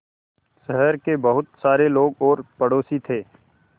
शहर के बहुत सारे लोग और पड़ोसी थे